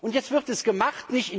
Und jetzt wird es gemacht.